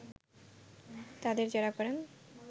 তাদের জেরা করেন